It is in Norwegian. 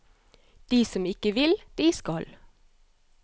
De som ikke vil, de skal.